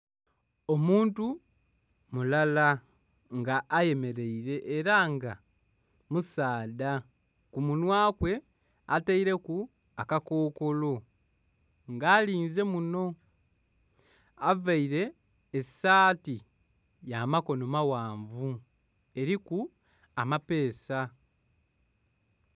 Omuntu mulala nga ayemereire era nga musaadha, ku munhwa kwe ataireku aka kokolo nga alinze muno, avaire esaati ya makonho maghanvu eriku amapeesa.